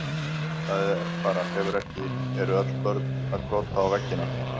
Það er bara, hefur ekki, eru ekki öll börn að krota á veggina?